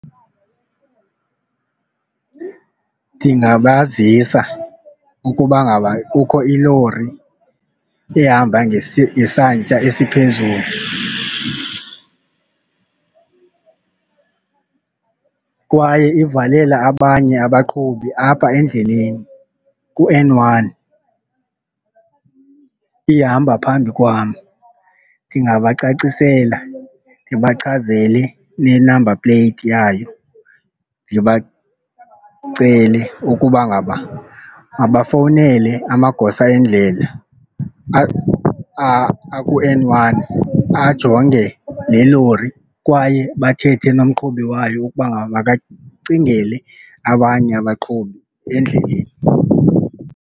Ndingabazisa ukuba ngaba kukho ilori ehamba ngesantya esiphezulu kwaye ivalela abanye abaqhubi apha endleleni ku-N one ihamba phambi kwam. Ndingabacacisela, ndibachazele ne-number plate yayo, ndibacele ukuba ngaba mabafowunele amagosa endlela aku-N one ajonge le lori kwaye bathethe nomqhubi wayo ukuba makacingele abanye abaqhubi endleleni.